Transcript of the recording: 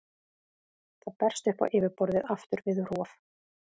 Það berst upp á yfirborðið aftur við rof.